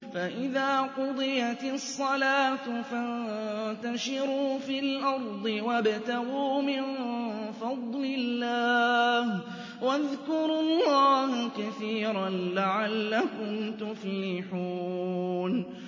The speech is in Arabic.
فَإِذَا قُضِيَتِ الصَّلَاةُ فَانتَشِرُوا فِي الْأَرْضِ وَابْتَغُوا مِن فَضْلِ اللَّهِ وَاذْكُرُوا اللَّهَ كَثِيرًا لَّعَلَّكُمْ تُفْلِحُونَ